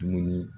Dumuni